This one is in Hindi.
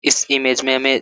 इस इमेज में हमें--